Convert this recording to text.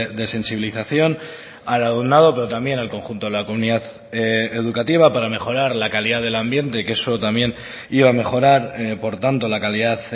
de sensibilización al alumnado pero también al conjunto de la comunidad educativa para mejorar la calidad del ambiente que eso también iba a mejorar por tanto la calidad